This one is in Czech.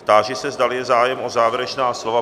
Táži se, zdali je zájem o závěrečná slova?